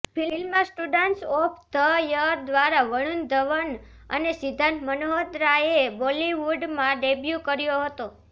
film students of the year દ્વારા વરૂણ ધવન અને સિદ્ધાર્થ મલ્હોત્રાએ બોલિવૂડમાં ડેબ્યુ કર્યો હતો